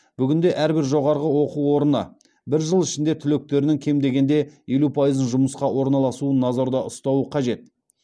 бүгінде әрбір жоғарғы оқу орны бір жыл ішінде түлектерінің кем дегенде елу пайызы жұмысқа орналасуын назарда ұстауы қажет